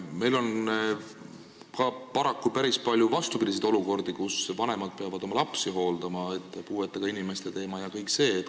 Meil on paraku päris palju ka vastupidiseid olukordi, kus vanemad peavad oma lapsi hooldama, puuetega inimeste teema ja kõik see.